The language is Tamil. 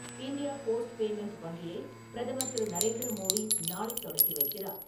இண்டியா போஸ்ட் பேமெண்ட் வங்கியைப் பிரதமர் திரு. நரேந்திர மோடி நாளை தொடக்கி வைக்கிறார்.